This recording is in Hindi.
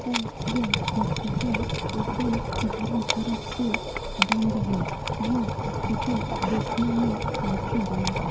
और यह हॉस्पिटल एकदम चारों तरफ से बंद है यह हॉस्पिटल देखने में काफी बड़ा है।